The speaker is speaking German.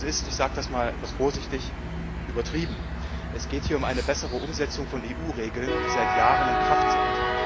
Das ist ich sage das einmal etwas vorsichtig übertrieben. Es geht hier um eine bessere Umsetzung von EU Regeln, die seit Jahren in Kraft sind.